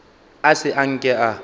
a se a nke a